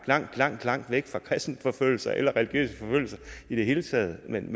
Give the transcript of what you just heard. langt langt langt væk fra kristenforfølgelser eller religiøse forfølgelser i det hele taget men